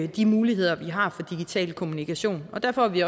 de muligheder vi har for digital kommunikation derfor er vi